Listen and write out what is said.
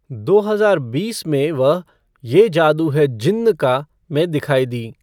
दो हजार बीस में वह ये जादू है जिन्न का में दिखाई दीं।